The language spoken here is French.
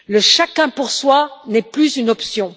Le chacun pour soi n'est plus une option.